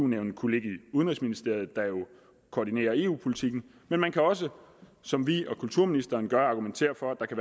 nævnet kunne ligge i udenrigsministeriet der jo koordinerer eu politikken men man kan også som vi og kulturministeren gør argumentere for at